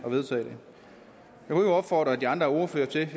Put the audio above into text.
kan opfordre de andre ordførere til at